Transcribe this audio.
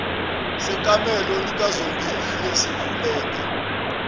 sekamelo likazongile sivuleka